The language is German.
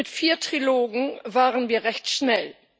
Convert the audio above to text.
Mit vier Trilogen waren wir recht schnell.